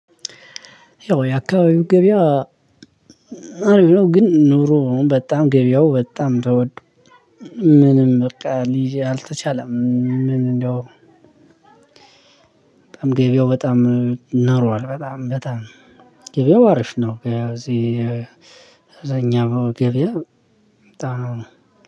ያው የአካባቢው ገበያ አሪፍ ነው። ግን ኑሮ በጣም ገበያው በጣም ተወዷል። ምንም በቃ ሊይዝ አልተቻለም። ምን እንደው። በጣም ገበያው በጣም ናሯል በጣም በጣም ገበያው አሪፍ ነው። ያው እዚህ እብዛኛው ገበያ